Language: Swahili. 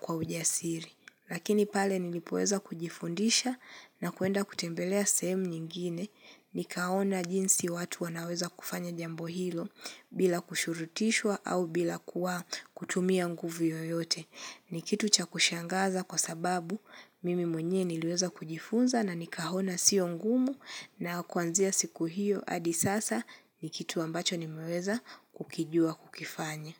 kwa ujasiri. Lakini pale nilipoweza kujifundisha na kuenda kutembelea semu nyingine nikaona jinsi watu wanaweza kufanya jambo hilo bila kushurutishwa au bila kuwa kutumia nguvu yoyote. Ni kitu cha kushangaza kwa sababu mimi mwenye niliweza kujifunza na nikaona sio ngumu na kwanzia siku hiyo adi sasa ni kitu ambacho nimeweza kukijua kukifanya.